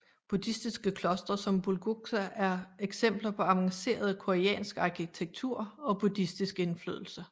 Buddhistiske klostre som Bulguksa er eksempler på avancerede koreansk arkitektur og buddhistiske indflydelse